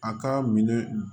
A ka minɛ